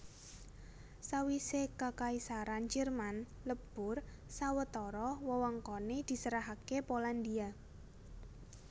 Sawisé Kakaisaran Jerman lebur sawetara wewengkoné diserahaké Polandia